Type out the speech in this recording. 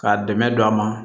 K'a dɛmɛ don a ma